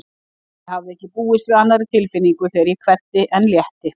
Ég hafði ekki búist við annarri tilfinningu þegar ég kveddi en létti.